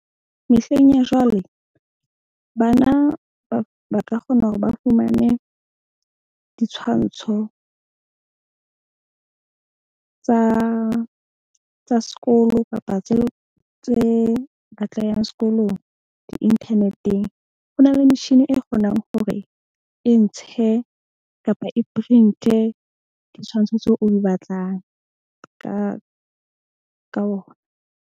Mehleng ya jwale, bana ba ka kgona hore ba fumane ditshwantsho tsa sekolo kapa tseo tse batlehang sekolong di-internet-eng. Ho na le machine e kgonang hore e ntshe kapa e print-e ditshwantsho tseo o di batlang ka ona.